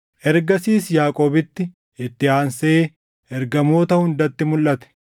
Ergasiis Yaaqoobitti, itti aansee ergamoota hundatti mulʼate;